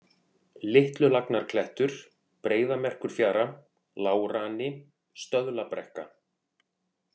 Litlulagnarklettur, Breiðamerkurfjara, Lágrani, Stöðlabrekka